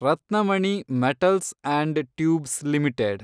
Ratnamani metals and tubes limited